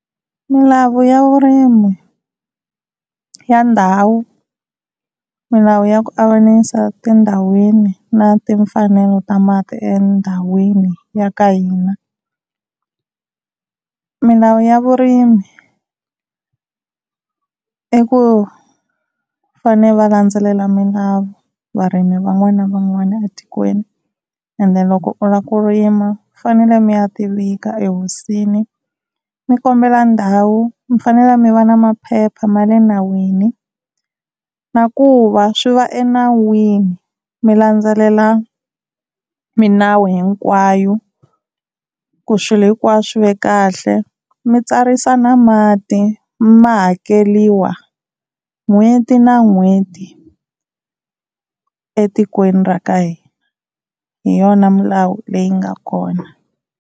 Milawu ya vurimi ya ndhawu, milawu ya ku avanyisa tindhawini na timfanelo ta mati endhawini ya ka hina. Milawu ya vurimi i ku va fane va landzelela milawu varimi van'wana na van'wana etikweni ende loko u la ku rima mi fanele mi ya ti vika ehosini mi kombela ndhawu, mi fanele mi va na maphepha ma le nawini na ku va swi va enawini mi landzelela milawu hinkwayo ku swilo hinkwaswo swi ve kahle. Mi tsarisa na mati ma hakeriwa n'hweti na n'hweti etikweni ra ka hina hi yona milawu leyi nga kona.